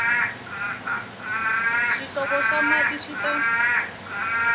swihlovo swa mati swi ta